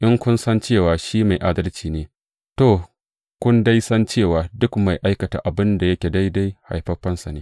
In kun san cewa shi mai adalci ne, to, kun dai san cewa duk mai aikata abin da yake daidai haifaffensa ne.